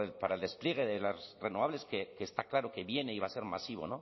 para el despliegue de las renovables que está claro que viene y va a ser masivo